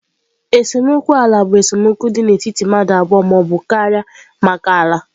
Esemokwu ala bụ esemokwu dị n'etiti mmadụ abụọ ma ọ bụ karịa maka ala.